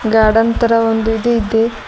Garden ತರ ಒಂದ್ ಇದು ಇದೆ.